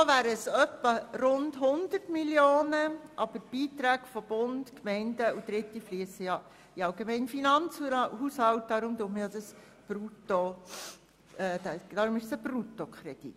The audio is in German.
Netto wären es rund 100 Mio. Franken, wobei die Beiträge des Bundes, der Gemeinden sowie von Dritten in den allgemeinen Finanzhaushalt fliessen, weshalb es sich um einen Bruttokredit handelt.